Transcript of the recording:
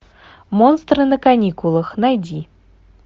монстры на каникулах найди